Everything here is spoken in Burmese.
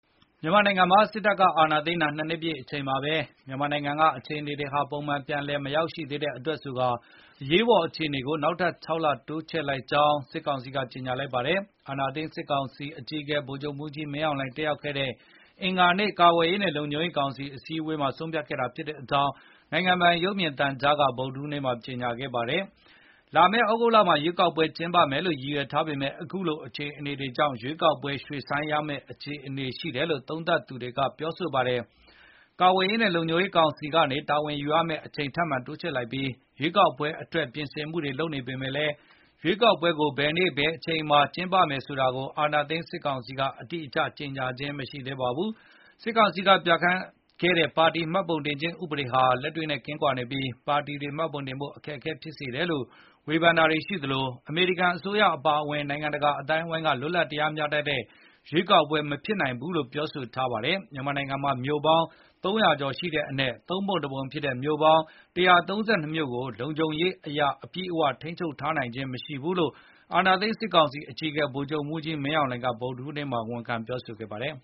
မြန်မာနိုင်ငံမှာ စစ်တပ်ကအာဏာသိမ်း ၂ နှစ်ပြည့်အချိန်မှာပဲ မြန်မာနိုင်ငံက အခြေအနေတွေဟာပုံမှန်ပြန်လည် မရောက်ရှိသေးတဲ့အတွက်ဆိုကာ အရေးပေါ်အခြေအနေကို နောက်ထပ် ၆ လ တိုးချဲ့လိုက်ကြောင်း စစ်ကောင်စီက ကြေညာလိုက်ပါတယ်။ အာဏာသိမ်းစစ် ကောင်စီအကြီးအကဲ ဗိုလ်ချုပ်မှူးကြီးမင်းအောင်လှိုင် တက်ရောက်ခဲ့တဲ့ အင်္ဂါနေ့ ကာကွယ်ရေးနဲ့လုံခြုံရေးကောင်စီအစည်းအဝေးမှာ ဆုံးဖြတ်ခဲ့တာဖြစ်ကြောင်း နိုင်ငံပိုင် ရုပ်မြင်သံကြားမှာ ဗုဒ္ဓဟူးနေ့က ကြေညာခဲ့တာပါ။ လာမယ့်သြဂုတ်လမှာ ရွေးကောက်ပွဲကျင်းပမယ်လို့ရည်ရွယ်ထားပေမဲ့ အခုလိုအခြေအနေတွေကြောင့် ရွေးကောက်ပွဲ ရွှေ့ဆိုင်းရမဲ့အခြေအနေရှိတယ်လို့ သုံးသပ်သူတချို့ကပြောဆိုပါတယ်။ ကာကွယ်ရေးနဲ့လုံခြုံရေးကောင်စီက တာဝန်ယူရမယ့်အချိန်ထပ်မံတိုးချဲ့လိုက်ပြီး ရွေးကောက်ပွဲအတွက်ပြင်ဆင်နေပေမယ့်လည်း ရွေးကောက်ပွဲကို ဘယ်နေ့ဘယ်အချိန်မှာကျင်းပမယ်ဆိုတာကို အာဏာသိမ်းစစ်ကောင်စီက အတိအကျကြေညာခြင်းမရှိသေးပါဘူး။ စစ်ကောင်စီကပြဌာန်းခဲ့တဲ့ ပါတီမှတ်ပုံတင်ခြင်းဥပဒေတွေဟာ လက်တွေနဲ့ကင်းကွာနေပြီး ပါတီတွေမှပုံတင်ဖို့အခက်အခဲတွေဖြစ်စေတယ်လို့ ဝေဖန်တာတွေရှိသလို အမေရိကန်အစိုးရအပါအဝင် နိုင်ငံတကာအသိုင်းအဝိုင်းက လွတ်လပ်တရားမျှတတဲ့ရွေးကောက်ပွဲမဖြစ်နိုင်ဘူးလို့ ပြောဆိုထားပါတယ်။ မြန်မာနိုင်ငံမှာ မြို့ပေါင်း ၃၀၀ ကျော်ရှိတဲ့အနက် သုံးပုံတပုံဖြစ်တဲ့ ၁၃၂ မြို့ကို လုံခြုံရေးအရအပြည့်အဝထိန်းချုပ်ထားနိုင်ခြင်းမရှိဘူးလို့ အာဏာသိမ်းစစ်ကောင်စီအကြီးအကဲ ဗိုလ်ချုပ်မှူးကြီးမင်းအောင်လှိုင်က ဗုဒ္ဓဟူးနေ့မှာ ဝန်ခံပြောဆိုခဲ့ပါတယ်